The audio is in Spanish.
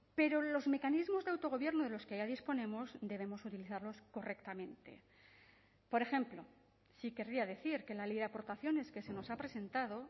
pero los mecanismos de autogobierno de los que ya disponemos debemos utilizarlos correctamente por ejemplo sí querría decir que la ley de aportaciones que se nos ha presentado